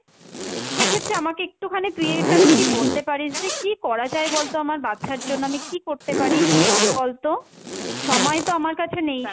সেক্ষেত্রে আমাকে একটুখানি তুই এটা যদি বলতে পারিস যে কী করা যায় বলতো আমার বাচ্চার জন্য, আমি কী করতে পারি বলতো? সময় তো আমার কাছে নেই,